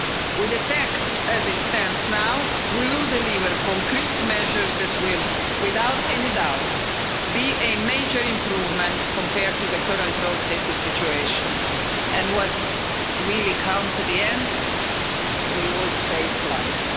With the text as it stands now, we will deliver concrete measures that will, without any doubt, be a major improvement compared to the current road safety situation and, what really counts at the end, we will save lives.